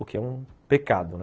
O que é um pecado, né?